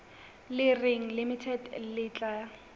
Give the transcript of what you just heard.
le reng limited le tla